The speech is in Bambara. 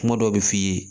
Kuma dɔw bi f'i ye